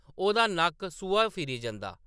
ओह्‌‌‌दा नक्क सूहा फिरी जंदा ।